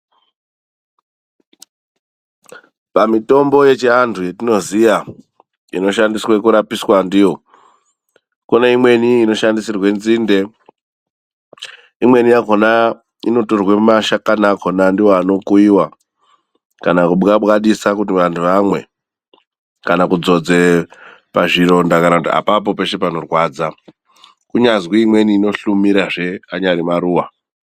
Pamitombo yekuchiantu yatinoziva inoshandiswe kurapa ndiyo, kune imweni inoshandisirwe nzinde, imwekona inotorwa mashakana kona ndiwo anokuyiwa kana kubwabwadisa kuti antu amwe kana kudzodze pazvironda kudakara peshe panorwadza. Kunyazi imweni inohlumira kanya nemaruva.